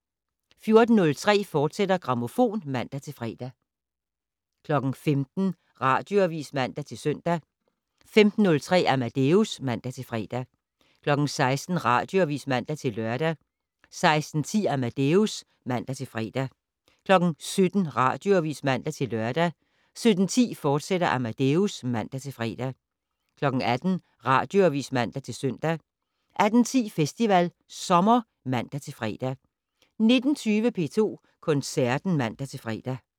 14:03: Grammofon, fortsat (man-fre) 15:00: Radioavis (man-søn) 15:03: Amadeus (man-fre) 16:00: Radioavis (man-lør) 16:10: Amadeus (man-fre) 17:00: Radioavis (man-lør) 17:10: Amadeus, fortsat (man-fre) 18:00: Radioavis (man-søn) 18:10: Festival Sommer (man-fre) 19:20: P2 Koncerten (man-fre)